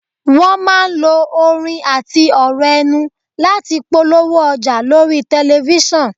Wọn máa ń lo orin àti ọ̀rọ̀ ẹnu láti polówó ọjà lórí tẹ̀lifísàn